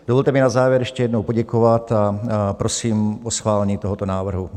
Dovolte mi na závěr ještě jednou poděkovat a prosím o schválení tohoto návrhu.